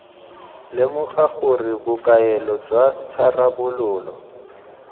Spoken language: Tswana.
lemoga gore bokaelo jwa tharabololo